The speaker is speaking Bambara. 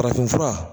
Farafinfura